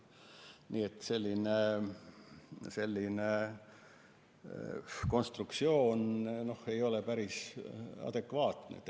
Nii et selline konstruktsioon ei ole päris adekvaatne.